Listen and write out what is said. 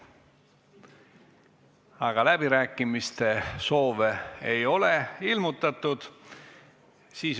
Aga läbirääkimiste soovi ei ole ilmutatud.